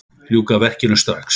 Ljúka verkinu strax!